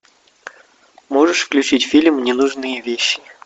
можешь включить фильм ненужные вещи